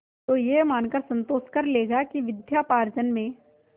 तो यह मानकर संतोष कर लेगा कि विद्योपार्जन में